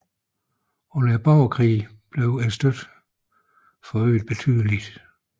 Under borgerkrigen blev støtten forøget betydeligt